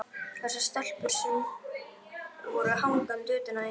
Þessar stelpur sem voru hangandi utan í þér.